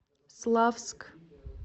славск